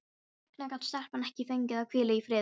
Hvers vegna gat stelpan ekki fengið að hvíla í friði?